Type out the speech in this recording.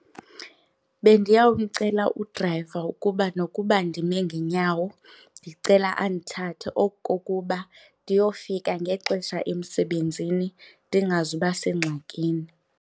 Bendiyawumcela udrayiva ukuba nokuba ndime ngenyawo ndicela andithathe oku kokuba ndiyofika ngexesha emsebenzini ndingazuba sengxakini.